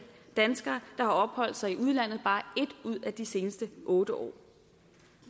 danskere der har opholdt sig i udlandet i bare en ud af de seneste otte år